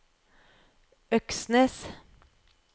Øksnes